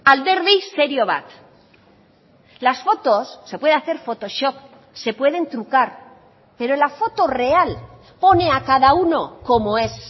alderdi serio bat las fotos se puede hacer photoshop se pueden trucar pero la foto real pone a cada uno como es